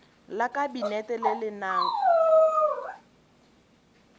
la kabinete le le nang